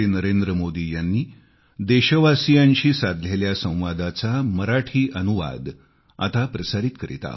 Navi Delhi 29 November 2020